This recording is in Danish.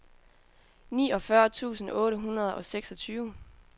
niogfyrre tusind otte hundrede og seksogtyve